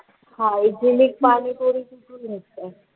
Hygienic panipuri कुठून येतं?